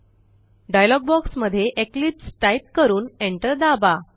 dialogue box मध्ये Eclipse type करून enter दाबा